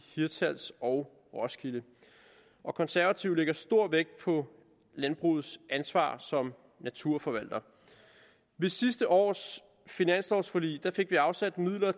hirtshals og roskilde konservative lægger stor vægt på landbrugets ansvar som naturforvalter ved sidste års finanslovforlig fik vi afsat midler